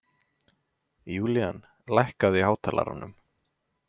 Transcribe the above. Julian, lækkaðu í hátalaranum.